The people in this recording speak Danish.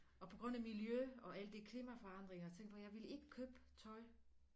Og på grund af miljø og alle de klimaforandringer tænkte på jeg vil ikke købe tøj